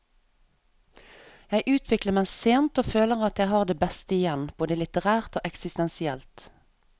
Jeg utvikler meg sent og føler at jeg har det beste igjen, både litterært og eksistensielt.